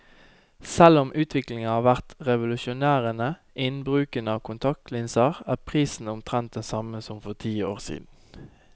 Selv om utviklingen har vært revolusjonerende innen bruken av kontaktlinser, er prisen omtrent den samme som for ti år siden.